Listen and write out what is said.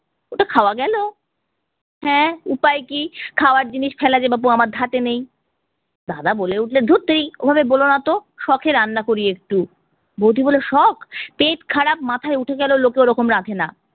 ওটা খাওয়া গেলো? হ্যাঁ উপায় কি, খাওয়ার জিনিস ফেলা যে বাপু আমার ধাতে নেই। দাদা বলে উঠলেন ধুত তেরি ওভাবে বোলোনা তো, শখে রান্না করি একটু। বৌদি বললো শখ! পেট খারাপ মাথায় উঠে গেলেও লোকে ওরকম রাঁধে না।